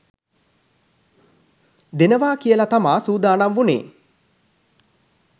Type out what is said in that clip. දෙනවා කියලා තමා සූදානම් වුණේ